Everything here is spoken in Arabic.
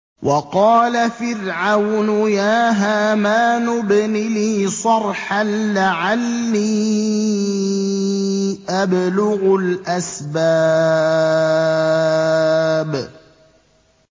وَقَالَ فِرْعَوْنُ يَا هَامَانُ ابْنِ لِي صَرْحًا لَّعَلِّي أَبْلُغُ الْأَسْبَابَ